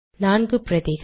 நான்கு பிரதிகள்